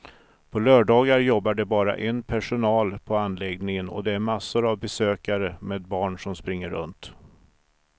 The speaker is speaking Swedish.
På lördagar jobbar det bara en personal på anläggningen och det är massor av besökare med barn som springer runt.